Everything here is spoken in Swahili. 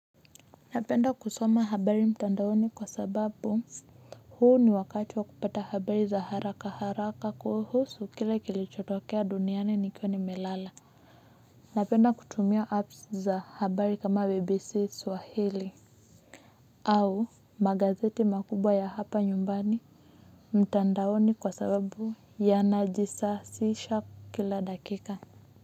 Napenda kusoma habari mtandaoni kwa sababu huu ni wakati wa kupata habari za haraka haraka kuhusu kile kilichotokea duniani nikiwa nimelala napenda kutumia apps za habari kama bbc swahili au magazeti makubwa ya hapa nyumbani mtandaoni kwa sababu yanajisasisha kila dakika.